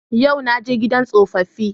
Yau na je gidan tsofaffi